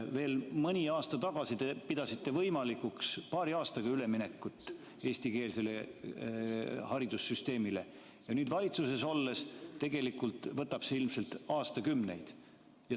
Veel mõni aasta tagasi te pidasite võimalikuks paari aastaga üleminekut eestikeelsele haridussüsteemile, aga nüüd valitsuses olles võtab see ilmselt aastakümneid.